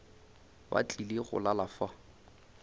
ba tlile go lala fa